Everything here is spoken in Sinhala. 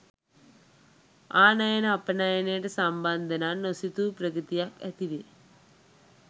ආනයනය අපනයනයට සම්බන්ධනම් නොසිතූ ප්‍රගතියක්‌ ඇති වේ.